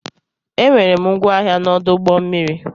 E nwere m ngwa ahịa na ọdụ ụgbọ mmiri.